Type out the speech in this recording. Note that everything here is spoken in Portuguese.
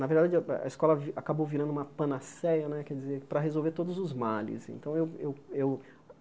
Na verdade, a a escola acabou virando uma panaceia né quer dizer para resolver todos os males. Então eu eu eu